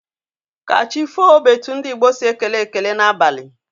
Ka chi foo bụ etu ndị Igbo si ekele ekele n'abalị.